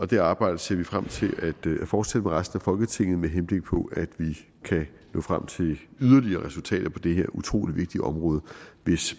det arbejde ser vi frem til at fortsætte med resten af folketinget med henblik på at vi kan nå frem til yderligere resultater på det her utrolig vigtige område hvis